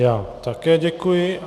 Já také děkuji.